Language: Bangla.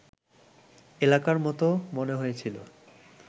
এলাকার মতো মনে হয়েছিল